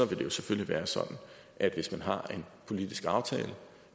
det jo selvfølgelig være sådan at hvis man har en politisk aftale er